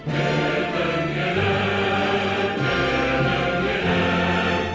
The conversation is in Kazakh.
менің елім менің елім